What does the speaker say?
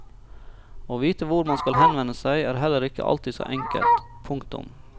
Å vite hvor man skal henvende seg er heller ikke alltid så enkelt. punktum